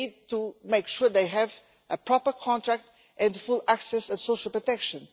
We need to make sure they have a proper contract and full access to social protection.